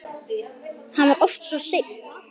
Hann var oft svo einn.